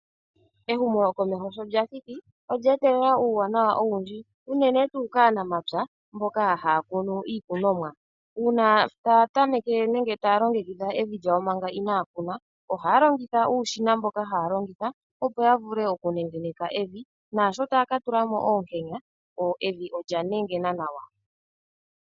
Ehumo komeho sho lyathiki olya etelela uuwanawa owundji unene tuu kaanamapya mboka ha ya kunu iikunomwa, uuna ta ya tameke nenge taya longekidha evi lyawo manga ina ya kuna, ohaya longitha uushina mboka haalongitha opo ya vule oku nengeneka evi naashoka taya katula mo oonkena evi olya nengena nawa.